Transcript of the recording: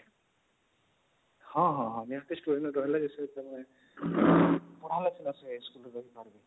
ହଁ ହଁ ହଁ